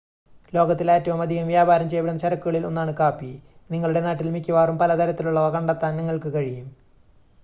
ലോകത്തിൽ ഏറ്റവും അധികം വ്യാപാരം ചെയ്യപ്പെടുന്ന ചരക്കുകളിൽ ഒന്നാണ് കാപ്പി നിങ്ങളുടെ നാട്ടിൽ മിക്കവാറും പല തരത്തിലുള്ളവ കണ്ടെത്താൻ നിങ്ങൾക്ക് കഴിയും